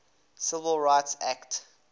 civil rights act